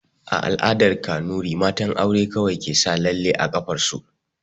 A la'asar Kanuri, matan aure kawai ke sa lalle a ƙafar su